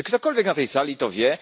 Czy ktokolwiek na tej sali to wie?